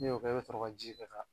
Ni y'o kɛ i be sɔrɔ ka ji kɛ ka